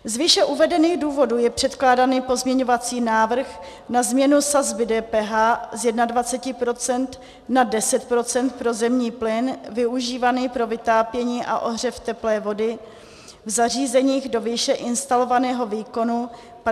Z výše uvedených důvodů je předkládán pozměňovací návrh na změnu sazby DPH z 21 % na 10 % pro zemní plyn využívaný pro vytápění a ohřev teplé vody v zařízeních do výše instalovaného výkonu 50 kW.